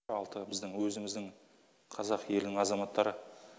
алты біздің өзіміздің қазақ елінің азаматтары